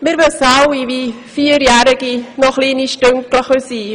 Wir wissen alle, dass Vierjährige noch kleine «Stünggle» sein können.